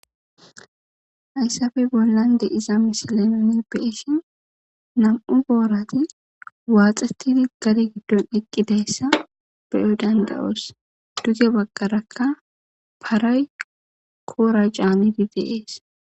Hayisape bollan de7iza misile nu be7ishin na7u borat waxetid gade gidon eqidayisa be7o danda7os. Duge bagaraka paray kora canid de7es.